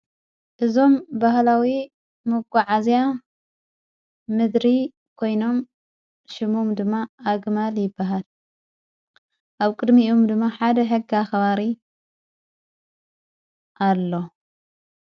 እዞም በሃላዊ መጐዓ እዚያ ምድሪ ኮይኖም ሽሙም ድማ ኣግማል ይበሃል ኣብ ቅድሚኡም ድማ ሓደ ሕጋ ኸባሪ ኣሎ።